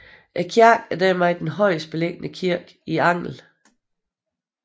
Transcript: Kirken er dermed er den højest beliggende kirke i Angel